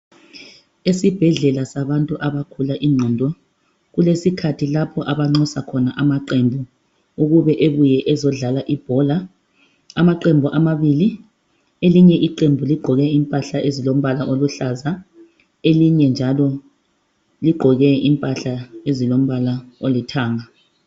Esibhedlela sabantu abagula ingqondo. Kulesikhathi lapho abanxusa khona amaqebhu ukube ebuye ezodlala ibhola. Amaqembu amabili, elinye iqembu ligqoke impahla ezilombala oluhlaza. Elinye njalo ligqoke impahla ezilombala olithanga.